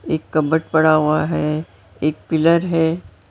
एक कबर्ड पड़ा हुआ है एक पिलर है।